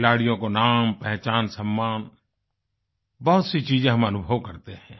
खिलाड़ियों को नाम पहचान सम्मान बहुत सी चीज़ें हम अनुभव करते हैं